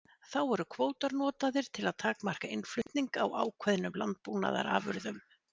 Þá eru kvótar notaðir til að takmarka innflutning á ákveðnum landbúnaðarafurðum.